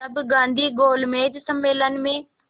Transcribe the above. तब गांधी गोलमेज सम्मेलन में